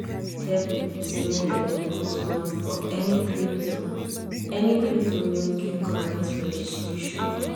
sec dey tell people say make dem no put money for any crypto any crypto wey no get correct registration